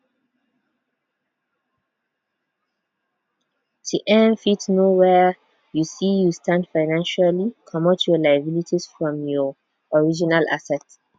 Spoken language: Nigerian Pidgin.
to um fit know where um you stand financially comot your liabilities from your um assets